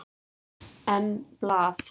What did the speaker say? En blað?